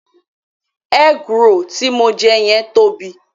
Egg roll tí mo jẹ yẹn tóbi.